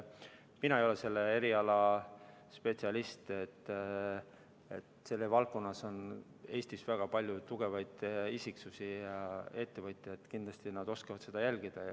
Mina ei ole selle eriala spetsialist, aga selles valdkonnas on Eestis väga palju tugevaid isiksusi ja ettevõtjaid, kindlasti oskavad nad seda jälgida.